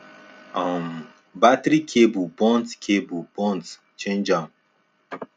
um battery cable burnt cable burnt change am